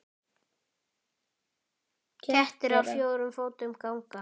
Kettir á fjórum fótum ganga.